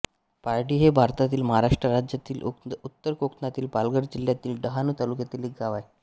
पारडी हे भारतातील महाराष्ट्र राज्यातील उत्तर कोकणातील पालघर जिल्ह्यातील डहाणू तालुक्यातील एक गाव आहे